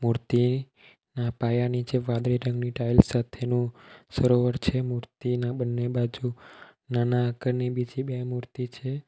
મૂર્તિ ના પાયા નીચે વાદળી રંગની ટાઇલ્સ સાથેનું સરોવર છે મૂર્તિના બંને બાજુ નાના આકારની બીજી બે મૂર્તિ છે.